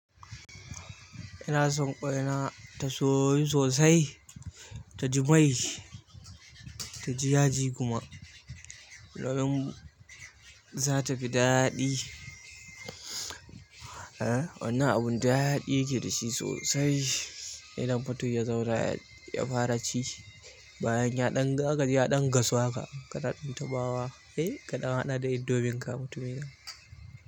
Ina son ƙwaina ta soyu sosai, ta ji mai, ta ji yaji kuma. Za ta fi daɗi. Eh, wannan abun daɗi yake da shi sosai. Idan fato ya zaura ya fara ci, bayan ya ɗan ga zaka ji ya ɗan gasu haka kana ɗan taɓawa. Kai kaɗan haɗa da indomie ka mutumina.